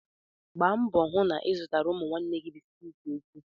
Gbaa mbọ hụ na ị zụrụ ụmụ nwanne gị bisikiiti echi!